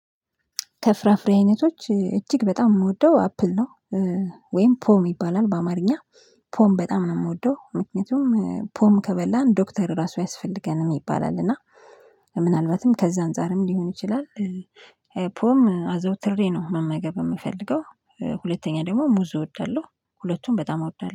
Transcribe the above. ከፍራፍሬ አይነቶች እጅግ በጣም የምወደው አፕል ነው። ወይም ፖም ይባላል በአማርኛ። ፖም በጣም ነው የምወደው ምክንያቱም ፖም ከበላን ዶክተር ራሱ አያስፈልገንም ይባላል እና ምናልባትም ከዛ አንፃርም ሊሆን ይችላል። ፖም አዘወትሬ ነው መመገብ የምፈልገው። ሁለተኛ ደግሞ ሙዝ እወዳለሁ ሁለቱም በጣም አውዳለሁ